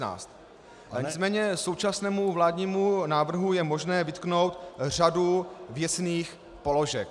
Nicméně současnému vládnímu návrhu je možné vytknout řadu věcných položek.